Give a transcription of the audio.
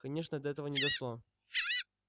конечно до этого не дошло